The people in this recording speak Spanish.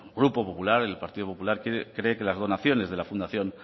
grupo popular el partido popular cree que las donaciones de la fundación